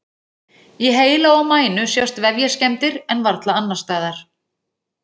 Í heila og mænu sjást vefjaskemmdir en varla annars staðar.